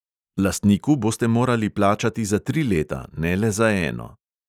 Lastniku boste morali plačati za tri leta, ne le za eno.